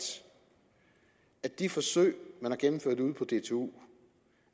at de forsøg man har gennemført ude på dtu